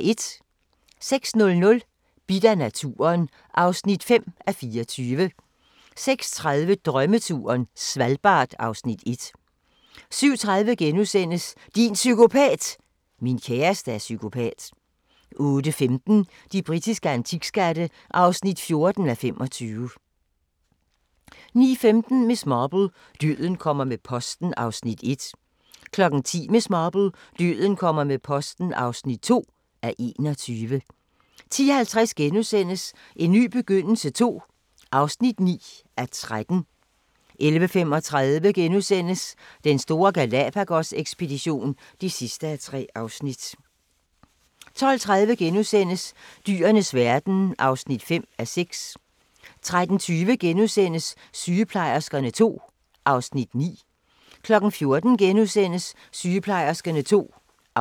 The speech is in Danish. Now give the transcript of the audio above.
06:00: Bidt af naturen (5:24) 06:30: Drømmeturen - Svalbard (Afs. 1) 07:30: Din psykopat! – Min kæreste er psykopat * 08:15: De britiske antikskatte (14:25) 09:15: Miss Marple: Døden kommer med posten (1:21) 10:00: Miss Marple: Døden kommer med posten (2:21) 10:50: En ny begyndelse II (9:13)* 11:35: Den store Galápagos-ekspedition (3:3)* 12:30: Dyrenes verden (5:6)* 13:20: Sygeplejerskerne II (Afs. 9)*